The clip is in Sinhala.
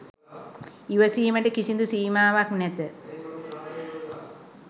ඉවසීමට කිසිදු සීමාවක් නැත.